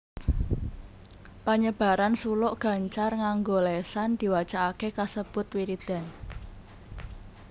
Panyebaran suluk gancar nganggo lésan diwacakaké kasebut wiridan